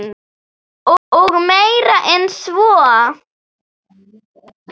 Og meira en svo.